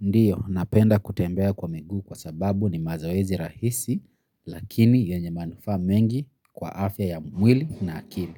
Ndiyo, napenda kutembea kwa miguu kwa sababu ni mazoezi rahisi, lakini yenye manufaa mengi kwa afya ya mwili na akili.